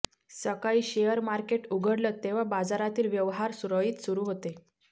सकाळी share market उघडलं तेव्हा बाजारातील व्यवहार सुरळीत सुरू होते